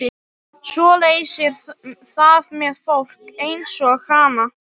Svoleiðis er það með fólk einsog hana.